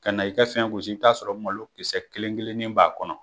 Kɛ n'i kɛ fɛn gosi i bi t'a sɔrɔ malokisɛ kelen kelennin b'a kɔnɔ.